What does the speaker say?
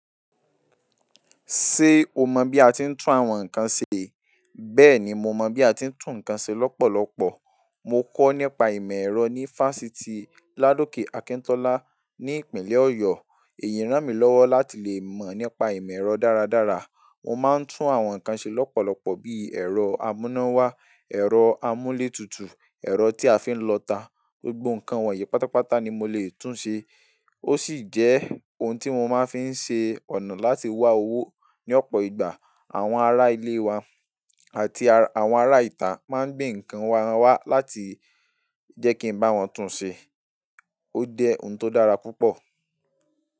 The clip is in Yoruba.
Ṣé o mọ bí a ti ń tún àwọn nkan ṣe? Bẹ́ẹ̀ ni, mo mọ bí a ti ń tún nkan ṣe lọ́pọ̀lọ́pọ̀. Mo kọ́ nípa ìmọ̀ ẹ̀rọ ní Fásitì Ladoke Akintola ní ìpínlẹ̀ Ọ̀yọ́. Èyí rán mi lọ́wọ́ láti lè mọ̀ nípa ìmọ̀ ẹ̀rọ dára dára. Mo máa ń tún àwọn nkan ṣe lọ́pọ̀lọpọ̀ bi ẹ̀rọ amúnáwá, ẹ̀rọ amúlétutu, ẹ̀rọ tí a fi ń lọta, gbogbo nkan wọ̀nyí pátápátá ni mo lè tún ṣe. Ó sì jẹ́ ohun tí mo máa ń fi ṣe ọ̀nà láti wá owó ní ọ̀pọ̀ ìgbà. Àwọn ará ilé wa àti àwọn ará ìta máa ń gbé nkan won wá láti jẹ́ kí n bá wọn tún ṣe. Ó jẹ ohun tó dára púpọ̀.